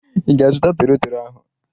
Ị ga-azuta toro toro ahu?